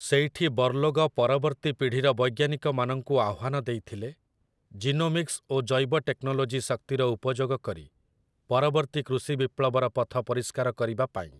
ସେଇଠି ବର୍ଲୋଗ ପରବର୍ତ୍ତୀ ପିଢ଼ିର ବୈଜ୍ଞାନିକମାନଙ୍କୁ ଆହ୍ଵାନ ଦେଇଥିଲେ, 'ଜିନୋମିକ୍ସ' ଓ ଜୈବଟେକ୍ନୋଲୋଜି ଶକ୍ତିର ଉପଯୋଗ କରି ପରବର୍ତ୍ତୀ କୃଷି ବିପ୍ଲବର ପଥ ପରିଷ୍କାର କରିବା ପାଇଁ ।